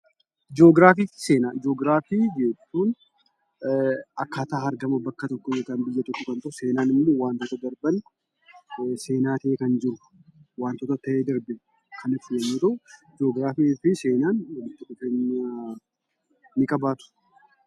Joogiraafiif seenaa: Joogiraafii jechuun akkaataa argama bakka tokkoo yookaan biyya tokkoo yoo ta'u, seenaan immoo wantoota darban seenaa ta'ee kan jiru wantoota ta'ee darbe kan ibsu yommuu ta'u, joogiraafiifi seenaan walitti dhufeenya ni qabaatuu?